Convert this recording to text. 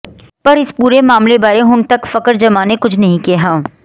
ਪਰ ਇਸ ਪੂਰੇ ਮਾਮਲੇ ਬਾਰੇ ਹੁਣ ਤੱਕ ਫਖਰ ਜਮਾਂ ਨੇ ਕੁਝ ਨਹੀਂ ਕਿਹਾ